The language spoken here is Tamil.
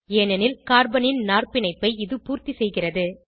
ஏனெனில் கார்பனின் நாற்பிணைப்பை இது பூர்த்திசெய்கிறது